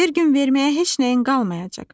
Bir gün verməyə heç nəyin qalmayacaq.